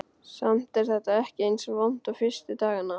Samt er þetta ekki eins vont og fyrstu dagana.